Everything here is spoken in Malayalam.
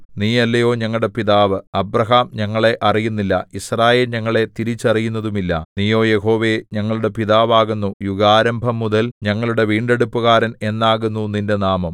നീയല്ലയോ ഞങ്ങളുടെ പിതാവ് അബ്രാഹാം ഞങ്ങളെ അറിയുന്നില്ല യിസ്രായേൽ ഞങ്ങളെ തിരിച്ചറിയുന്നതുമില്ല നീയോ യഹോവേ ഞങ്ങളുടെ പിതാവാകുന്നു യുഗാരംഭംമുതൽ ഞങ്ങളുടെ വീണ്ടെടുപ്പുകാരൻ എന്നാകുന്നു നിന്റെ നാമം